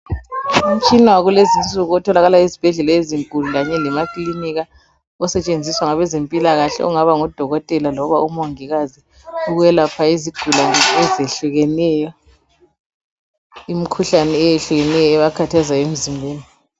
Umtshina wakulezinsuku otholakala ezibhedlela kanye lemaklinika osetshenziswa ngabe mpilakahle ongaba ngudokotela kumbe omongikazi ukwelapha izigulane ezihlukeneyo imikhuhlane ehlukeneyo ebakhathaza emzimbeni